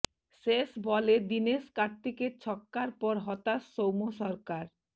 শেষ বলে দিনেশ কার্তিকের ছক্কার পর হতাশ সৌম্য সরকার